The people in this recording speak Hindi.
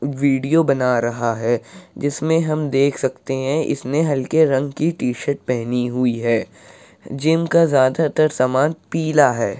वीडियो बना रहा है। जिसमे हम देख सकते हैं की इसने हल्के रंग की टी-शर्ट पहनी हुई है। जिम का ज्यादातर सामान पीला है।